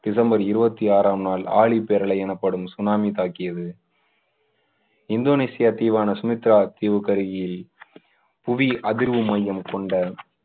December இருபத்தி ஆறாம் நாள் ஆழிப்பேரலை எனப்படும் சுனாமி தாக்கியது. இந்தோனேசிய தீவான சுமத்ரா தீவுக்கு அருகில் புவி அதிர்வு மையம் கொண்ட